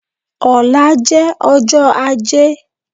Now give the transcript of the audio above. Ọ̀la jẹ́ ọjọ́ ajé